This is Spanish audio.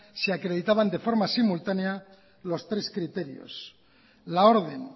se acreditaban de forma simultánea los tres criterios la orden